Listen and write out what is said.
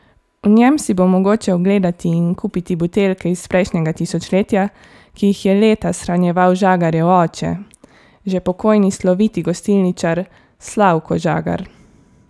V njem si bo mogoče ogledati in kupiti buteljke iz prejšnjega tisočletja, ki jih je leta shranjeval Žagarjev oče, že pokojni sloviti gostilničar Slavko Žagar.